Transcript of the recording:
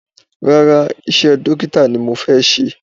Rárá, iṣẹ́ dókítà ni mo fẹ́ ṣe